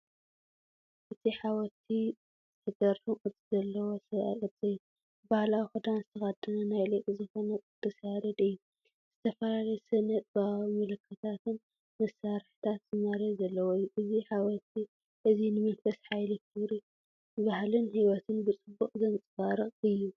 እቲ ሓወልቲ ዝገርም ቅርጺ ዘለዎ ሰብኣዊ ቅርጺ እዩ። ባህላዊ ክዳን ዝተኸድነ ናይቲ ሊቅ ዝኾነ ቅ/ያሬድ እዩ፡፡ ዝተፈላለየ ስነ-ጥበባዊ ምልክታትን መሳርሕታት ዝማሬ ዘለዎ እዩ። እዚ ሓወልቲ እዚ ንመንፈስ ሓይሊ፡ ክብሪ ባህልን ህይወትን ብጽቡቕ ዘንጸባርቕ እዩ።